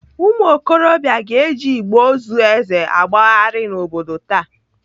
Ụmụokorobịa ga-eji igbe ozu Eze agbagharị n'obodo taa.